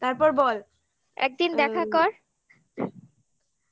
তারপর বল একদিন দেখা কর